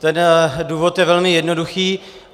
Ten důvod je velmi jednoduchý.